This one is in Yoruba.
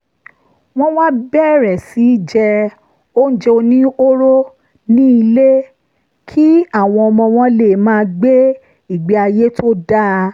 wọ́n wá bẹ̀rẹ̀ sí í jẹ oúnjẹ oníhóró nílé kí àwọn ọmọ wọn lè máa gbé ìgbé ayé tó dáa